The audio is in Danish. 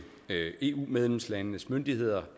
eu medlemslandenes myndigheder